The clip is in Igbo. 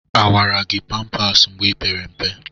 Awara gị pampas mgbe ipere mpe?